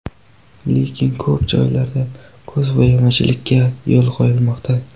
Lekin, ko‘p joylarda ko‘zbo‘yamachilikka yo‘l qo‘yilmoqda.